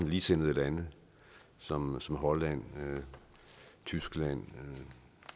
ligesindede lande som som holland tyskland